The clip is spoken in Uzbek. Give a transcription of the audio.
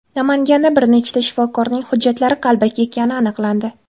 Namanganda bir nechta shifokorning hujjatlari qalbaki ekani aniqlandi.